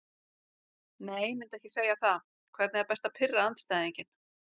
Nei myndi ekki segja það Hvernig er best að pirra andstæðinginn?